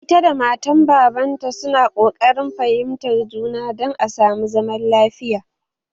Ita da matan baban ta su na koƙarin fahimtar juna dan a samu zaman lafiya